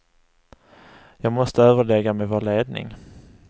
Jag måste överlägga med vår ledning.